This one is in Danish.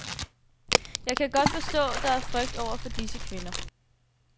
Jeg kan godt forstå, der er frygt over for disse kvinder.